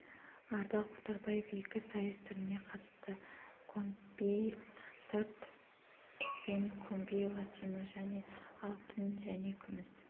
ардақ оторбаев екі сайыс түріне қатысты комби стандарт пен комби латино және алтын және күміс